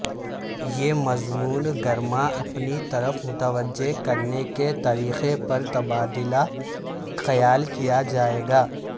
یہ مضمون گرما اپنی طرف متوجہ کرنے کے طریقے پر تبادلہ خیال کیا جائے گا